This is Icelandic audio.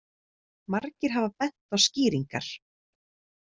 Margir hafa bent á skýringar.